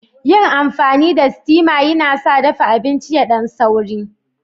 Yin amfani da steama yana sa dafa abinci yadan sauri.